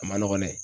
A ma nɔgɔn dɛ